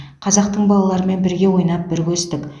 қазақтың балаларымен бірге ойнап бірге өстік